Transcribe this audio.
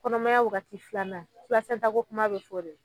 Kɔnɔmaya wagati filanan pilasɛnta ko kuma be fɔ o de la